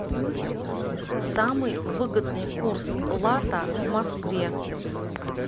самый выгодный курс лата в москве